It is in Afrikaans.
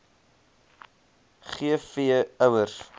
g v ouers